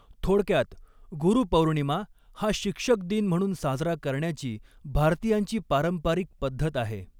थोडक्यात, गुरुपौर्णिमा हा शिक्षक दिन म्हणून साजरा करण्याची भारतीयांची पारंपारिक पद्धत आहे.